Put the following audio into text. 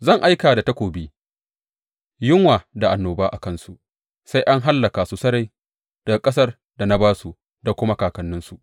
Zan aika da takobi, yunwa da annoba a kansu sai an hallaka su sarai daga ƙasar da na ba su da kuma kakanninsu.